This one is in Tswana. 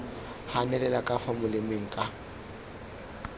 ganelela ka fa molemeng ka